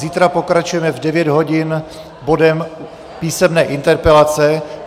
Zítra pokračujeme v 9 hodin bodem písemné interpelace.